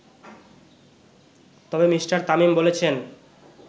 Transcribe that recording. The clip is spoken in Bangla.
তবে মিঃ তামিম বলেছেন